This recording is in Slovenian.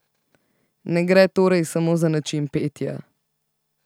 Ne gre torej samo za način petja.